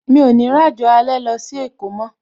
Mi ò ní ràjò alẹ́ lọ sí èkó mó